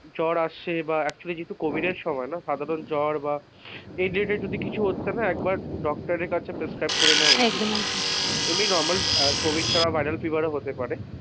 জ্বর আসে বা actuallycovid এর সময় না সাধারণ জ্বর বা এই ধরণের কিছু হচ্ছে না একবার doctor কাছে পেসক্রাইব করে নেওয়া উচিত একদম একদম এমনি normal covid ছাড়া viral fever ও হতে পারে,